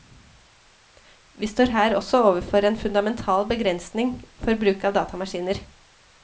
Vi står her også overfor en fundamental begrensning for bruk av datamaskiner.